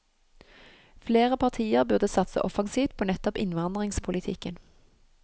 Flere partier burde satse offensivt på nettopp innvandringspolitikken.